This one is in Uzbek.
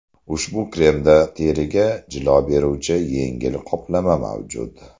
Ushbu kremda teriga jilo beruvchi yengil qoplama mavjud.